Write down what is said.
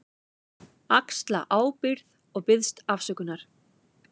Axla ábyrgð og biðst afsökunar.